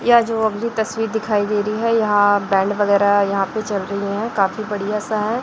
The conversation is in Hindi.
यह जो अगली तस्वीर दिखाई दे रही है यहां बैंड वगैरह यहां पे चल रही हैं काफी बढ़िया सा है।